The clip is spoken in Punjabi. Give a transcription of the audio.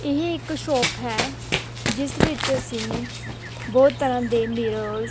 ਏਹ ਇੱਕ ਸ਼ੌਪ ਹੈ ਜਿਸ ਵਿੱਚ ਅੱਸੀਂ ਬੋਹੁਤ ਤਰ੍ਹਾਂ ਦੇ ਮਿਰਰਸ --